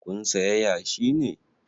Kun saya yashi ne?